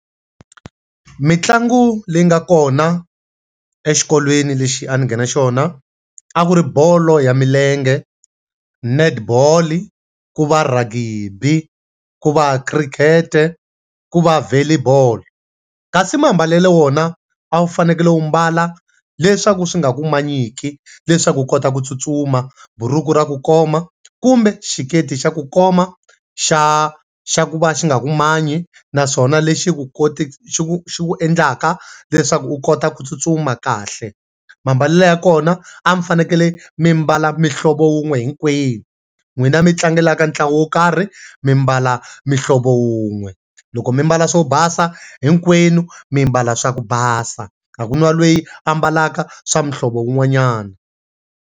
Mintlangu leyi nga kona exikolweni lexi a ni nghena xona, a ku ri bolo ya milenge, netball, ku va ragibi, ku va khirikhete, ku va volley ball. Kasi mambalelo wona a wu fanekele u mbala le swa ku swi nga ku manyiki, leswaku u kota ku tsutsuma. Buruku ra ku koma kumbe xiketi xa ku koma xa xa ku va xi nga ku manyi naswona lexi ku xi ku xi ku endlaka leswaku u kota ku tsutsuma kahle. Mambalelo ya kona, a mi fanekele mi mbala muhlovo wun'we hinkwenu. N'wina mi tlangelaka ntlangu wo karhi mi mbala muhlovo wun'we. Loko mi mbala swo basa, hinkwenu mi mbala swa ku basa. A ku na loyi a ambalaka swa muhlovo wun'wanyana.